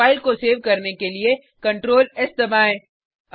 file को save करने के लिए ctrls दबाएँ